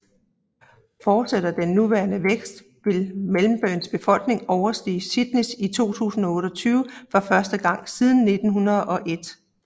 Fortsætter den nuværende vækst vil Melbournes befolkning overstige Sydneys i 2028 for første gang siden 1901